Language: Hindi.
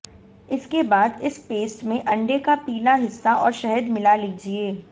इसके बाद इस पेस्ट में अंडे का पीला हिस्सा और शहद मिला लीजिए